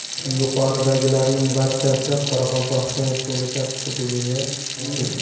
Yuqoridagilarning barchasi Qoraqalpog‘iston Respublikasi hududi uchun.